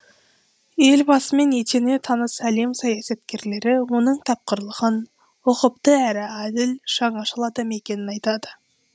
елбасымен етене таныс әлем саясаткерлері оның тапқырлығын ұқыпты әрі әділ жаңашыл адам екенін айтады